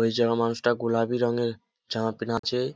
ওই যাওয়া মানুষটা গুলাবি রঙের জামা পেহনে আছে ।